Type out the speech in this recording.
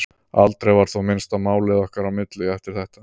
Aldrei var þó minnst á málið okkar á milli eftir þetta.